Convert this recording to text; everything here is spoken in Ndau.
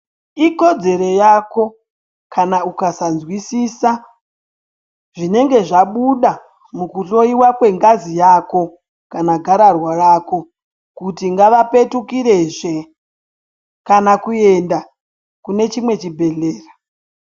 Ikodzero yako kana ukasanzwisisa zvinenge zvabuda mukuhloyiwa kwengazi yako kana gararwa rako kuti ngavapetukirezve kana kuenda kune chimwe chibhehlera.